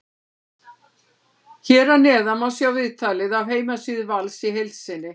Hér að neðan má sjá viðtalið af heimasíðu Vals í heild sinni.